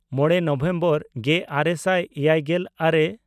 ᱢᱚᱬᱮ ᱱᱚᱵᱷᱮᱢᱵᱚᱨ ᱜᱮᱼᱟᱨᱮ ᱥᱟᱭ ᱮᱭᱟᱭᱜᱮᱞ ᱟᱨᱮ